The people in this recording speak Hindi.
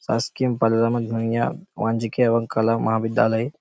शासकीय एवं कला महाविद्यालय।